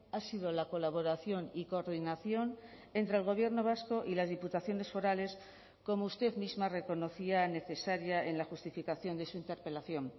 ha sido la colaboración y coordinación entre el gobierno vasco y las diputaciones forales como usted misma reconocía necesaria en la justificación de su interpelación